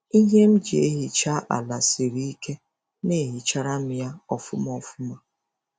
Ihe m ji ehicha ala siri ike na-ehicharam ya ofuma ofuma.